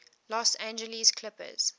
los angeles clippers